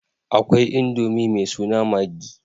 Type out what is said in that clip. Akwai Indomi mai suna maggi.